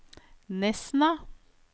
Nesna